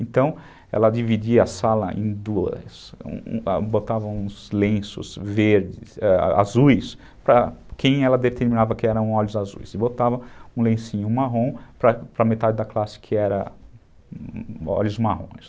Então, ela dividia a sala em duas, botava uns lenços azuis para quem ela determinava que eram olhos azuis e botava um lencinho marrom para metade da classe que era olhos marrons.